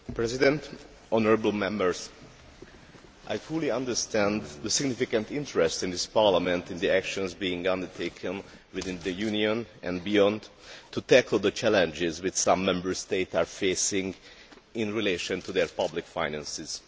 Mr President, I fully understand the significant interest in this Parliament in the actions being undertaken within the Union and beyond to tackle the challenges which some Member States are facing in relation to their public finances.